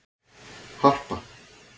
Harpa